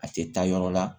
A tɛ taa yɔrɔ la